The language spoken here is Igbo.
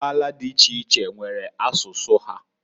Mbala di iche iche, nwere asụsụ ha.